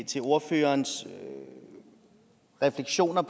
til ordførerens refleksioner